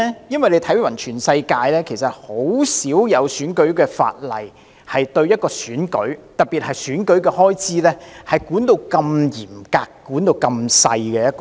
因為縱觀全世界，很少地方的選舉法例會對選舉的管理——特別是選舉開支——訂明如此嚴謹、細緻的規定。